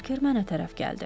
Berker mənə tərəf gəldi.